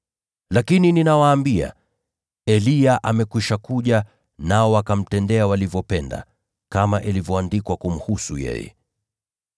Lakini ninawaambia, Eliya amekwisha kuja, nao wakamtendea walivyopenda, kama ilivyoandikwa kumhusu yeye.”